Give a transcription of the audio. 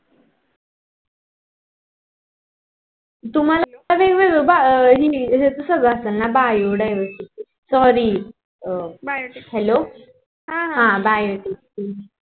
तुम्हाला वेगवेगळ बा हई ही सगळ bio diversitysorry hello